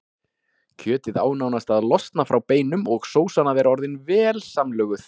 Kjötið á nánast að losna frá beinum og sósan að vera orðin vel samlöguð.